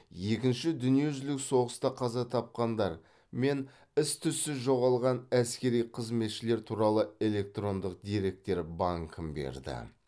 екінші дүниежүзілік соғыста қаза тапқандар мен із түзсіз жоғалған әскери қызметшілер туралы электрондық деректер банкін берді